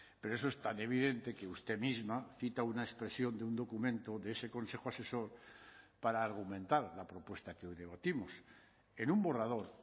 pero eso es tan evidente que usted misma cita una expresión de un documento de ese consejo asesor para argumentar la propuesta que hoy debatimos en un borrador